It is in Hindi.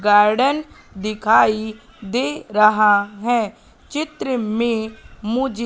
गार्डन दिखाई दे रहा है चित्र में मुझे--